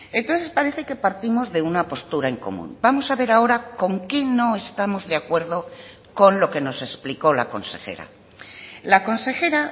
entonces parece que partimos de una postura en común vamos a ver ahora con que no estamos de acuerdo con lo que nos explicó la consejera la consejera